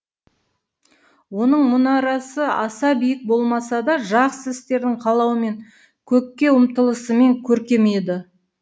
оның мұнарасы аса биік болмаса да жақсы істердің қалауымен көкке ұмтылысымен көркем еді